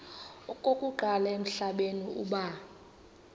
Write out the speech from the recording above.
okokuqala emhlabeni uba